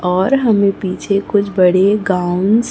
और हमें पीछे कुछ बड़े गाउनस् --